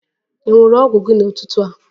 Ị ṅụ ọgwụ gị n'ụtụtụ a?